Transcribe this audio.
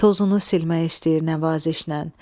Tozunu silmək istəyir nəvazişnən.